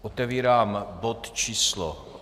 Otevírám bod číslo